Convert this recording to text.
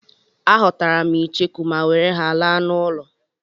Aghọtara m icheku ma were ha laa n'ụlọ.